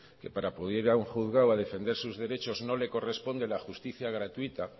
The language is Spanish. que para acudir a un juzgado a defender sus derechos no le corresponde la justicia gratuita